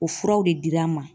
O furaw de dir'an ma.